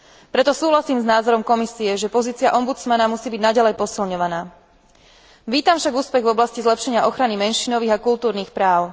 Preto súhlasím s názorom Komisie, že pozícia ombudsmana musí byť naďalej posilňovaná. Vítam však úspech v oblasti zlepšenia ochrany menšinových a kultúrnych práv.